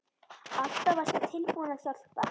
Alltaf varstu tilbúin að hjálpa.